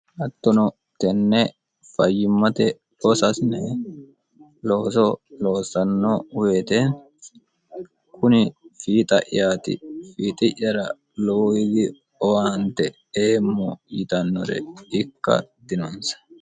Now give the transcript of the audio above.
hattono tenne fayyimmate losaasine looso loossanno woyite kuni fiixa'yaati fiixi'yara lowoiyi owaante eemmo yitannore ikka dinonsa